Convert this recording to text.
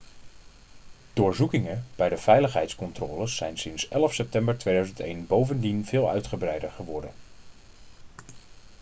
doorzoekingen bij de veiligheidscontroles zijn sinds 11 september 2001 bovendien veel uitgebreider geworden